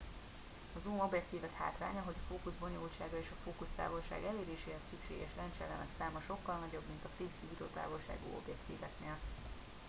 a zoom objektívek hátránya hogy a fókusz bonyolultsága és a fókusztávolság eléréséhez szükséges lencseelemek száma sokkal nagyobb mint a fix gyújtótávolságú objektíveknél